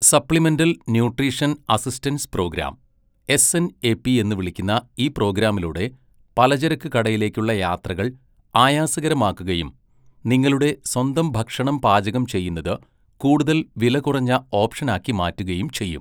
Supplemental nutrition assistance program, SNAP എന്ന് വിളിക്കുന്ന ഈ പ്രോഗ്രാമിലൂടെ പലചരക്ക് കടയിലേക്കുള്ള യാത്രകൾ ആയാസകരമാക്കുകയും നിങ്ങളുടെ സ്വന്തം ഭക്ഷണം പാചകം ചെയ്യുന്നത് കൂടുതൽ വിലകുറഞ്ഞ ഓപ്ഷനാക്കി മാറ്റുകയും ചെയ്യും.